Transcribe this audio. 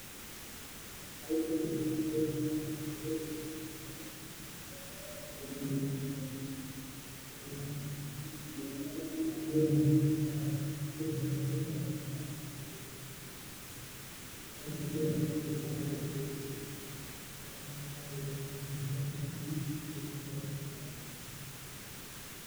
howshan aad bay muhim utahay xoolaa dhaqashada a ama dadka kale si ay meel katiin oga furtan ama xoolahoda kudhaqdan si ay udhirigalyaan ama aya cafimaadkooda kafurtaan ama noloshooda wax ooga qabsadaan si ay beri kamaalin noloshooda wax oogu qabsadan